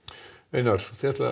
einar þið ætlið að